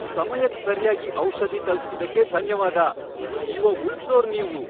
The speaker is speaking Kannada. ಸಮಯಕ್ ಸರ್ಯಾಗಿ ಔಷಧಿ ತಲುಪ್ಸಿದ್ದಕ್ಕೆ ಧನ್ಯವಾದ. ಜೀವ ಉಳ್ಸೋರ್ ನೀವು.